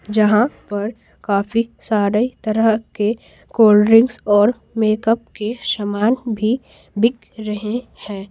जहां पर काफी सारे तरह के कोल्ड ड्रिंक्स और मेकअप के शामान भी बिक रहे हैं।